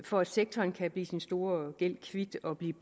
for at sektoren kan blive sin store gæld kvit og blive